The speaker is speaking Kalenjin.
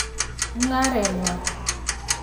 Mungaaret nywan.